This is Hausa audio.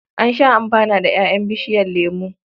An sha amfana da ƴaƴan bishiyar lemo.